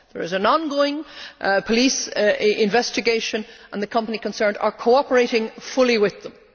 There is an ongoing police investigation and the company concerned is cooperating fully with them.